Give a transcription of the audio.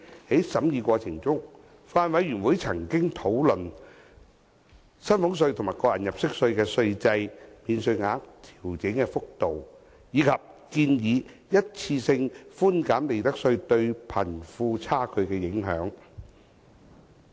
在審議過程中，法案委員會曾討論薪俸稅及個人入息課稅的稅制、免稅額的調整幅度，以及建議的一次性寬減利得稅對貧富差距的影響。